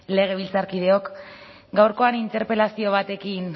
legebiltzarkideok gaurkoan interpelazio batekin